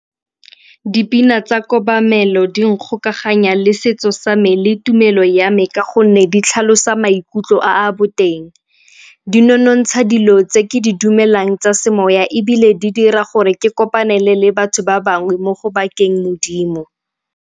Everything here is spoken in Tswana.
Dipina tsa kobamelo di nkgokaganya le setso sa me le tumelo ya me ka gonne di tlhalosa maikutlo a boteng. Dii nonontsha dilo tse ke di dumelang tsa semoya ebile di dira gore ke kopane le le batho ba bangwe mo go bakeng Modimo.